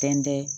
Fɛn tɛ